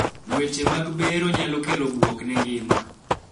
weche mag bero nyalo kelo buok ne ngima